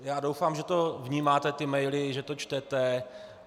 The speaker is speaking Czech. Já doufám, že to vnímáte, ty maily, že to čtete.